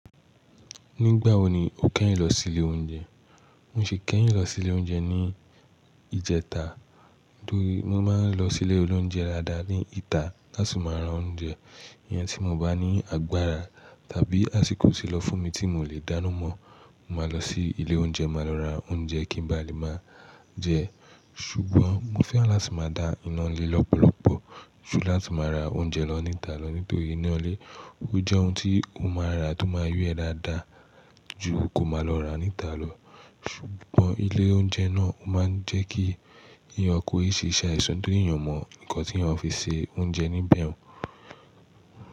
Nígbà wo ni o kẹ́yìn lọ sí ilé oúnjẹ? Mo sì kẹ́yìn lọ sí ilé oúnjẹ ní ìjẹta. Nítorí mo máa ń lọ sí ilé olóúnjẹ dáadáa ní ìta láti máa rá oúnjẹ. Iyan tí mo bá ní agbára tàbí àsìkò ti lọ fún mi tí mò lè dáná mọ́, mo máa lọ sí ilé oúnjẹ, màá lọ ra oúnjẹ kí n ba lè máa jẹ ẹ́. Ṣùgbọ́n mo fẹ́ran láti máa dá iná ilé lọ́pọ̀lọ́pọ̀ ju láti máa ra oúnjẹ lọ níta lọ. Nítorí iná ilé, ó jẹ́ ohun tí o máa ra tó máa yọ́ ẹ dáadáa ju kó máa lọ ra níta lọ. Ṣùgbọ́n ilé oúnjẹ náà ó máa ń jẹ́ kí eeyan kò ì ṣiṣẹ́ ìsọ́, torí èèyàn o mọ nǹkan tí eeyan fi ṣe oúnjẹ níbẹ̀ o.